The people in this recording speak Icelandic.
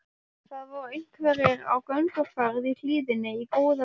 Það eru einhverjir á gönguferð í hlíðinni í góða veðrinu.